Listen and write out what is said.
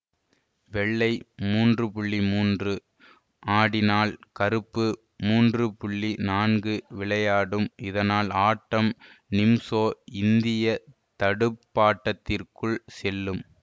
வெள்ளை மூன்று மூன்று ஆடினால் கருப்பு மூன்று நான்கு விளையாடும் இதனால் ஆட்டம் நிம்சோ இந்திய தடுப்பாட்டத்திற்குள் செல்லும்